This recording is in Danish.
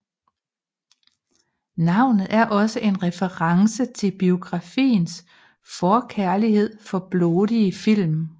Navnet et også en reference til biografens forkærlighed for blodige film